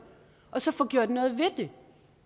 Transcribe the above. og så få gjort noget ved